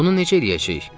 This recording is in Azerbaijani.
Bunu necə eləyəcəyik?